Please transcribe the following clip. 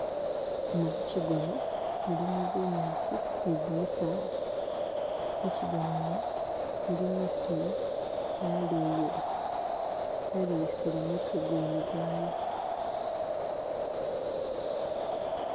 Emu muchigona mulimu bunyaasi ni gimisaala, muchigona umu mulimo isolo yaleyile yaleyisile mutwe gwene gwayo.